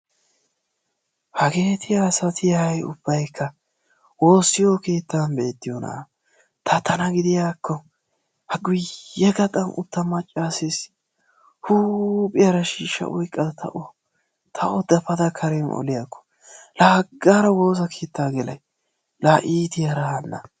Hageeti asati hay ubbaykka woossiyo keettan beettiyoona ta tana gidiyaakko ha guyye gaxxan utta maccasses huuphiyaara shiishshaa oyqqada ta o dapada karen oliyaakko, la haggaara woossa keetta gelay! la iittiyaara hana!